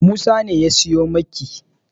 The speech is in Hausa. Musa ne ya siyo miki.